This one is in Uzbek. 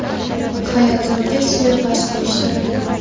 Hayotimga suiqasd uyushtirilgan.